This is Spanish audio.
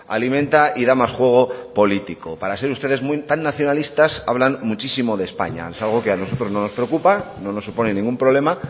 alimenta y da más juego político para ser ustedes tan nacionalistas hablan muchísimo de españa es algo que a nosotros no nos preocupa no nos supone ningún problema